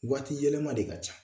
Waati yɛlɛma de ka ca